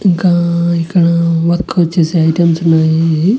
ఇంకా ఇక్కడ వర్క్ వచ్చేసే ఐటమ్స్ ఉన్నాయి.